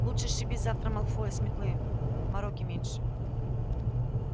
лучше сшиби завтра малфоя с метлы мороки меньше